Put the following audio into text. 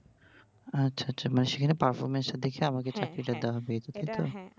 আচ্ছা আচ্ছা মানে সেরা performance টা দেখে আমাকে চাকরি পেতে হবে হ্যাঁ হ্যাঁ, এটা হ্যাঁ